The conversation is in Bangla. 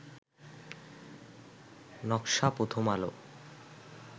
নকশা প্রথম আলো